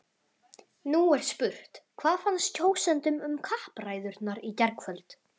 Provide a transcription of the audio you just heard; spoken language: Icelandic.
Nú er spurt, hvað fannst kjósendum um kappræðurnar í gærkvöld?